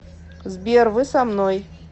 сбер вы со мной